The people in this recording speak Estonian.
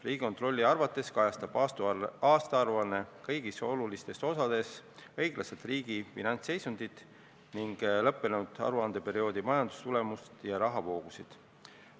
Riigikontrolli arvates kajastab aastaaruanne kõigis olulistes osades õiglaselt riigi finantsseisundit ning lõppenud aruandeperioodi majandustulemust ja rahavoogusid.